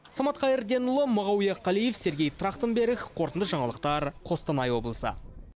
самат қайырденұлы мағауия қалиев сергей трахтенберг қорытынды жаңалықтар қостанай облысы